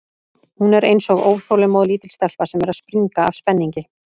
Hún er eins og óþolinmóð, lítil stelpa sem er að springa af spenningi.